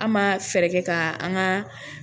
An ma fɛɛrɛ kɛ ka an ka